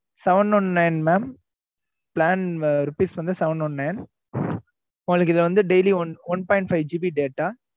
seven one nine mam plan rupees வந்து seven one nine உங்களுக்கு இதுல வந்து daily one one point five GB data